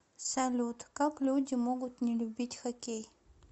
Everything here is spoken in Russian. салют как люди могут не любить хоккей